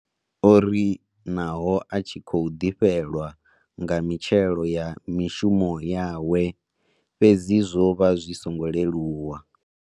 O ri naho a tshi khou ḓifhelwa nga mitshelo ya mishumo yawe fhedzi zwo vha zwi songo leluwa.